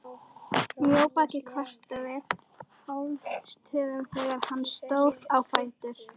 Mjóbakið kvartaði hástöfum þegar hann stóð á fætur.